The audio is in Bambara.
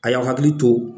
A y'aw hakili to